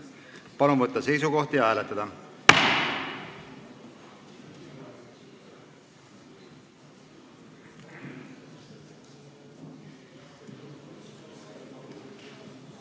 Palun võtta seisukoht ja hääletada!